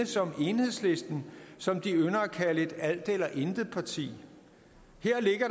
som enhedslisten som de ynder at kalde et alt eller intet parti